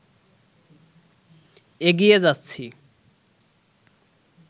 এগিয়ে যাচ্ছি